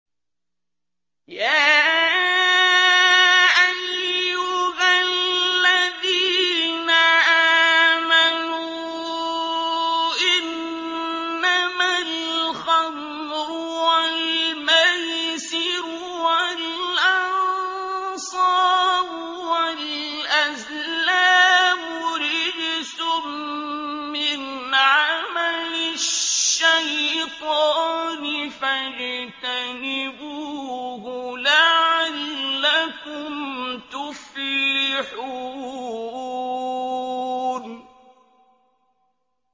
يَا أَيُّهَا الَّذِينَ آمَنُوا إِنَّمَا الْخَمْرُ وَالْمَيْسِرُ وَالْأَنصَابُ وَالْأَزْلَامُ رِجْسٌ مِّنْ عَمَلِ الشَّيْطَانِ فَاجْتَنِبُوهُ لَعَلَّكُمْ تُفْلِحُونَ